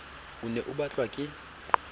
o ne o batlwa ke